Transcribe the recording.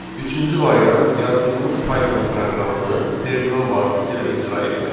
Üçüncü variant yazdığımız Python proqramını terminal vasitəsilə icra etməkdir.